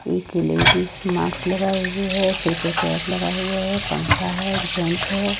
एक लेडिस माक्स लगाए हुए हैं सिर पे कैप लगाए हुए हैं पंखा है एक जेंट्स है।